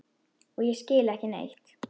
Og ég skil ekki neitt.